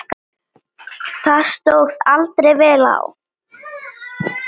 Það stóð aldrei vel á.